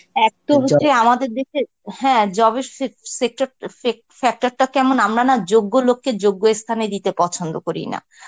এক তো হচ্ছে আমাদের দেশের হ্যাঁ job এর sec~ sector fek~ factor টা কেমন আমরা না যোগ্য লোককে যোগ্য থানে দিতে পছন্দ করি না.